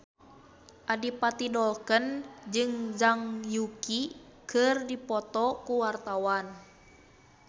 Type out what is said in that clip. Adipati Dolken jeung Zhang Yuqi keur dipoto ku wartawan